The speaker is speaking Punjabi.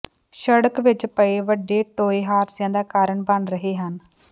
ਸੜਕ ਵਿੱਚ ਪਏ ਵੱਡੇ ਟੋਏ ਹਾਦਸਿਆਂ ਦਾ ਕਾਰਨ ਬਣ ਰਹੇ ਹਨ